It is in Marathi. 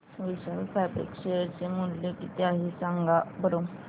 विशाल फॅब्रिक्स शेअर चे मूल्य किती आहे सांगा बरं